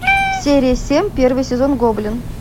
серия семь первый сезон гоблин